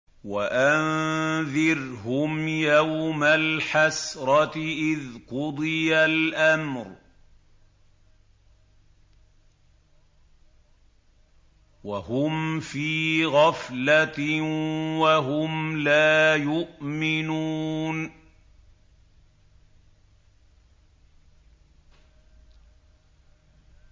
وَأَنذِرْهُمْ يَوْمَ الْحَسْرَةِ إِذْ قُضِيَ الْأَمْرُ وَهُمْ فِي غَفْلَةٍ وَهُمْ لَا يُؤْمِنُونَ